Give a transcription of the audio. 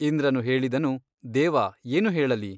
ಇಂದ್ರನು ಹೇಳಿದನು ದೇವ ಏನು ಹೇಳಲಿ?